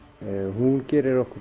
hún gerir okkur